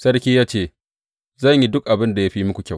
Sarki ya ce, Zan yi duk abin da ya fi muku kyau.